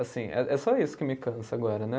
Assim, é é só isso que me cansa agora, né?